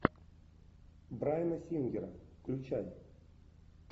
брайана сингера включай